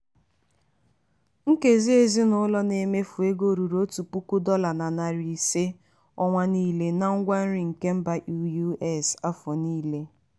nkezi ezinụlọ na-emefụ ego ruru otu puku dọla na narị ise ọnwa niile na ngwa nri na mba us afọ niile.